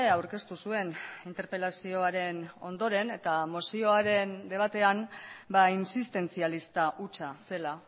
aurkeztu zuen interpelazioaren ondoren eta mozioaren debatean insistentzialista hutsa zela